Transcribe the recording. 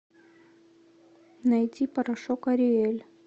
найти порошок ариэль